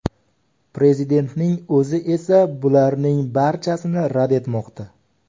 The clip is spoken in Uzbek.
Prezidentning o‘zi esa bularning barchasini rad etmoqda.